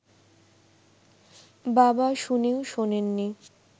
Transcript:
বাবা শুনেও শোনেননি